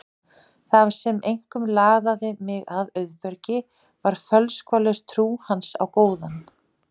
Það sem einkum laðaði mig að Auðbergi var fölskvalaus trú hans á góðan